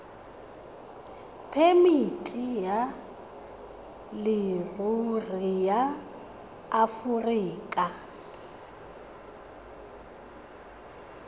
phemiti ya leruri ya aforika